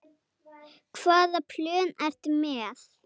Hvaða plön ertu með?